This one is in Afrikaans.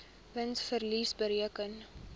wins verlies bereken